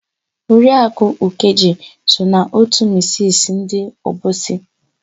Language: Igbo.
Oriakụ Ụkaeje so na òtù misisi ndị Obosi.